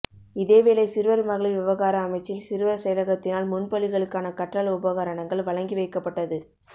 இதேவேளை சிறுவர் மகளிர் விவகார அமைச்சின் சிறுவர் செயலகத்தினால் முன்பள்ளிகளுக்கான கற்றல் உபகரணங்கள் வழங்கி வைக்கப்பட்டது